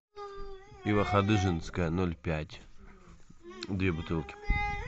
пиво ходыженское ноль пять две бутылки